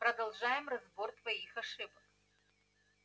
продолжаем разбор твоих ошибок